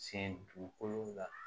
Sen dugukolo la